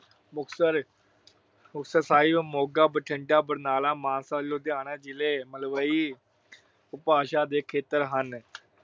ਮੁਕਤਸਰ ਅਹ ਮੁਕਤਸਰ ਸਾਹਿਬ, ਮੋਗਾ, ਬਠਿੰਡਾ, ਬਰਨਾਲਾ, ਮਾਨਸਾ, ਲੁਧਿਆਣਾ ਜ਼ਿਲ੍ਹੇ ਮਲਵਈ ਉਪਭਾਸ਼ਾ ਦੇ ਖੇਤਰ ਹਨ।